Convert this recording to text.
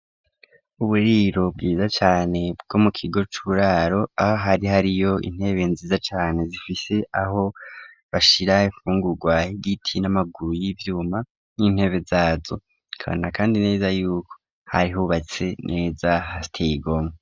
Uburiro bwiza cane, bwo mu kigo c'uburaro, aho hari, hariyo intebe nziza cane, zifise aho bashira infungurwa, h'igiti n'amaguru y'ivyuma, n'intebe zazo; ukabona kandi neza y'uko, hari hubatse neza, hateye igomwe.